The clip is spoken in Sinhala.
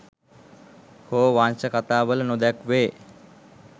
හෝ වංශ කථා වල නොදැක්වේ.